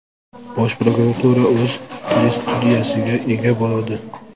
Bosh prokuratura o‘z telestudiyasiga ega bo‘ladi.